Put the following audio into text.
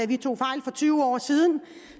vi tog fejl for tyve år siden